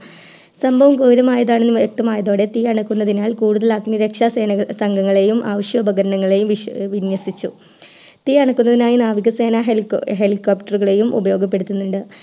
സംഭവം ഗൗരമാണെന്ന് വൃക്തമായതോടെ തീ അണയ്ക്കുന്നതിനാൽ കൂടുതൽ അഗ്നിരക്ഷാ സേന അംഗങ്ങളെയും ആവിശ്യ ഉപകരണങ്ങളെയും വിന്യഷിച്ചു തീ അണയ്ക്കുന്നതിനായി നാവിക സേന Helicopter കളെയും ഉപയോഗപ്പെടുത്തുന്നുണ്ട്